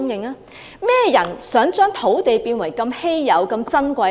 甚麼人想香港的土地一直保持珍貴？